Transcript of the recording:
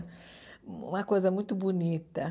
Uma coisa muito bonita.